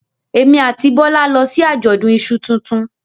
Èmi àti Bọ́lá lọ sí àjọ̀dún iṣu tuntun